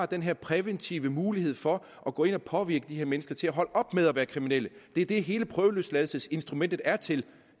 den her præventive mulighed for at gå ind og påvirke de mennesker til at holde op med at være kriminelle det er det hele prøveløsladelsesinstrumentet er til